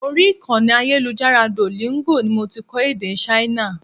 Orí ìkànnì ayélujára Duolingo ni mo ti kọ́ èdè Ṣáínà.